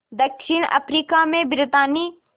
दक्षिण अफ्रीका में ब्रितानी